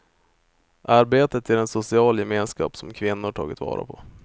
Arbetet ger en social gemenskap som kvinnor tagit vara på.